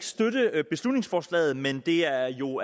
støtte beslutningsforslaget men det er jo